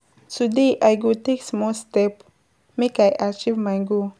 Today I go take small step make I achieve my goal.